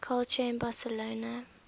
culture in barcelona